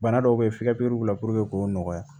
Bana dɔw be ye f'i ka pɛri k'o nɔgɔya